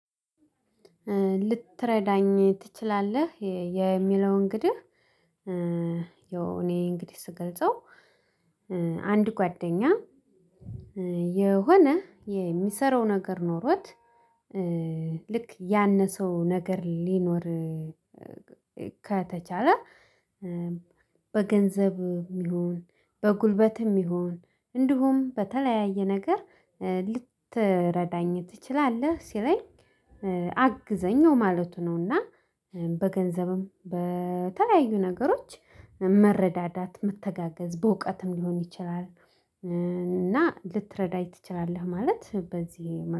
ልትረዳኝ ትችላለህ? የሚለው እንግዲህ ያው እኔ እንግዲህ ስገልጸው አንድ ጓደኛ የሆነ የሚሰራው ነገር ኖሮት ልክ ያነሰው ነገር ሊኖር ከተቻለ። በገንዘብም ይሁን በጉልበትም ይሁን እንዲሁም በተለያየ ነገር ልትረዳኝ ትችላለህ። ሲለኝ አግዘኝ ማለቱ ነውና በገንዘብም በተለያዩ ነገሮች መረዳዳት መተጋገዝ በእውቀትም ሊሆን ይችላል። እና ልትረዳኝ ትችላለህ ማለት በዚህ